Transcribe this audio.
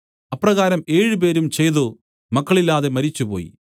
അപ്രകാരം ഏഴുപേരും ചെയ്തു മക്കളില്ലാതെ മരിച്ചുപോയി